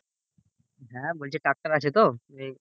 হ্যাঁ বলছি tractor আছে তো